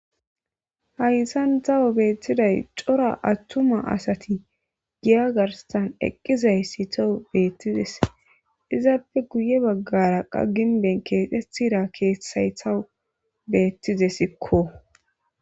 hayssan dawo beettiday cora attuma asati giya garstan eqqizay si too beettides izaappe guye baggara qaginben keexethira keethtsaythawu beettizesikko